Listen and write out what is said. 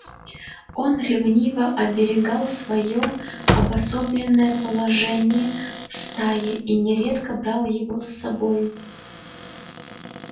он ревниво оберегал своё обособленное положение в стае и нередко брал его с бою